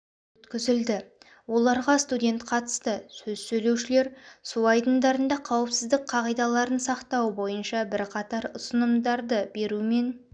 өткізілді оларға студент қатысты сөз сөйлеушілер су айдындарында қауіпсіздік қағидаларын сақтау бойынша бірқатар ұсынымдарды берумен